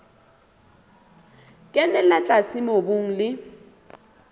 e kenella tlase mobung le